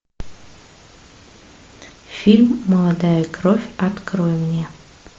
фильм молодая кровь открой мне